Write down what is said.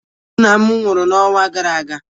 Nna m nwụrụ n'ọnwa gara aga.